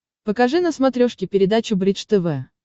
покажи на смотрешке передачу бридж тв